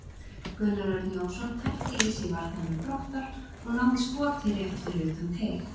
Gunnar Örn Jónsson tætti í sig varnarmenn Þróttar og náði skoti rétt fyrir utan teig.